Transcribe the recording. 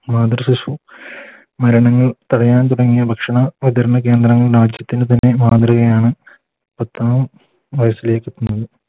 മാതൃ ശിശു മരണങ്ങൾ തടയാൻ തുടങ്ങിയ ഭക്ഷണ വിതരണ കേന്ദ്രങ്ങൾ രാജ്യത്തിന് തന്നെ മാതൃകയാണ് പത്താം വയസ്സിലേക്ക്